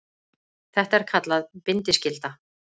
Þetta er kallað bindiskylda.